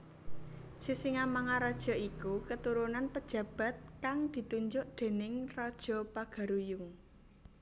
Sisingamangaraja iku keturunan pejabat kang ditunjuk déning raja Pagaruyung